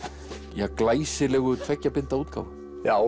ja glæsilegu tveggja binda útgáfu já